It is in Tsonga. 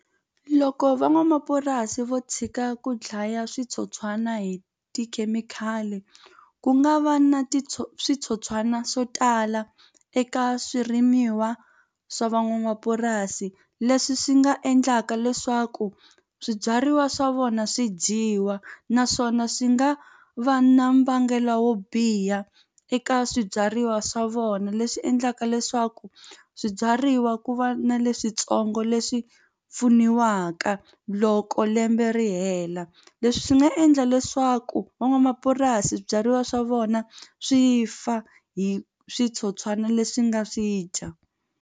Loko van'wamapurasi vo tshika ku dlaya switsotswana hi tikhemikhali ku nga va na switsotswana swo tala eka swirimiwa swa van'wamapurasi leswi swi nga endlaka leswaku swibyariwa swa vona swi dyiwa naswona swi nga va na mbangelo wo biha eka swibyariwa swa vona leswi endlaka leswaku swibyariwa ku va na leswintsongo leswi pfuniwaka loko lembe ri hela leswi swi nga endla leswaku van'wamapurasi byariwa swa vona swi fa hi switsotswana leswi nga swi dya.